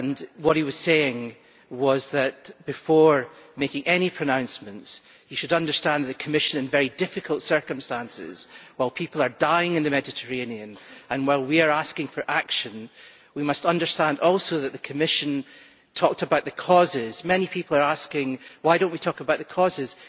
What he was saying was that before making any pronouncements we should understand the Commission is in very difficult circumstances. While people are dying in the Mediterranean and while we are asking for action, we must understand also that the Commission talked about the causes. Many people are asking why do we not talk about the causes?